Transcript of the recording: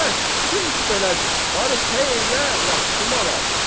Bəs, çünki belədir, barı səy elə yaxşı mal al.